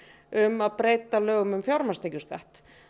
um að breyta lögum um fjármagnstekjuskatt